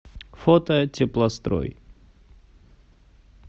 фото теплострой